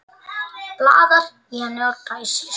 Blaðar í henni og dæsir.